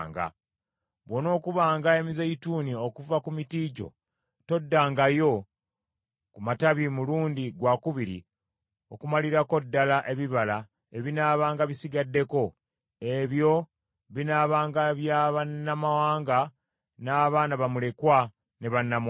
Bw’onookubanga emizeeyituuni okuva ku miti gyo, toddangayo ku matabi mulundi gwakubiri okumalirako ddala ebibala ebinaabanga bisigaddeko. Ebyo binaabanga bya bannamawanga, n’abaana bamulekwa ne bannamwandu.